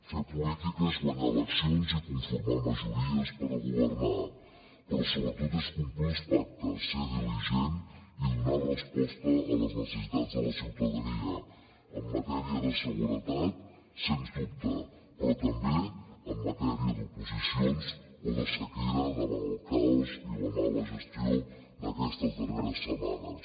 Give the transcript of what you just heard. fer política és guanyar eleccions i conformar majories per a governar però sobretot és complir els pactes ser diligent i donar resposta a les necessitats de la ciutadania en matèria de seguretat sens dubte però també en matèria d’oposicions o de sequera davant el caos i la mala gestió d’aquestes darreres setmanes